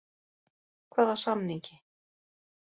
Hvaða samningi?